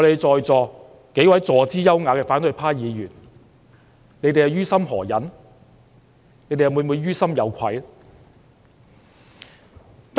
在席數位坐姿優雅的反對派議員，你們於心何忍呢？你們會否於心有愧？